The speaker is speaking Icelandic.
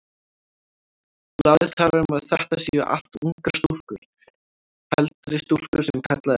Blaðið talar um að þetta séu allt ungar stúlkur, heldri stúlkur sem kallað er.